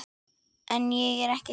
En ég er ekki hrædd.